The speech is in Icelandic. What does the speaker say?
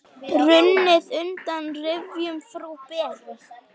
Runnið undan rifjum frú Beru.